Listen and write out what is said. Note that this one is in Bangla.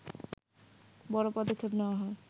বড় পদক্ষেপ নেওয়া হয়